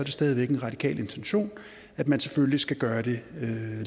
stadig væk en radikal intention at man selvfølgelig skal gøre det